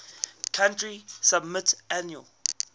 country submit annual